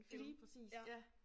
Lige præcis ja